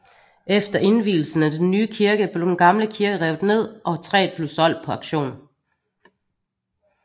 Efter indvielsen af den nye kirke blev den gamle kirke revet ned og træet blev solgt på auktion